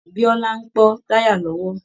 Bíọ́lá ń pọ́ táyà lọ́wọ́